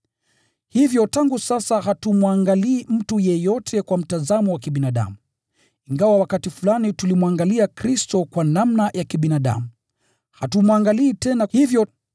Hivyo tangu sasa hatumwangalii mtu yeyote kwa mtazamo wa kibinadamu. Ingawa wakati fulani tulimwangalia Kristo kwa namna ya kibinadamu, hatumwangalii tena hivyo.